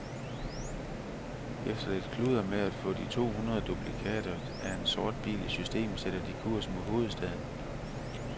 Efter lidt kludder med at få de to hundrede duplikater af en sort bil i system sætter de kurs mod hovedstaden.